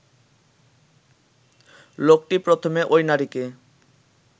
লোকটি প্রথমে ঐ নারীকে